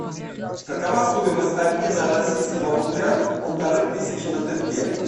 какова стоимость обмена российского рубля полторы тысячи на тенге